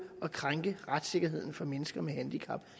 at krænke retssikkerheden for mennesker med handicap